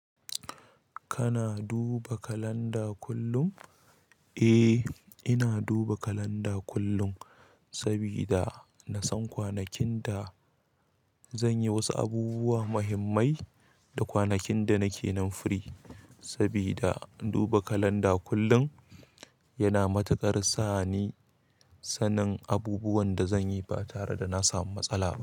Kana duba kalanda kullum? Eh, ina duba kalanda kullum sabida na san kwanakin da zanyi wasu abubuwa muhimmai da kwanakin da nake nan firi. Sabida duba kalanda kullum yana matuƙar sa ni sanin abubuwan da zanyi ba tare da na samu matsala ba.